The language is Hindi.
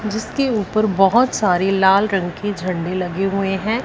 जिसके ऊपर बहोत सारे लाल रंग के झंडे लगे हुए हैं।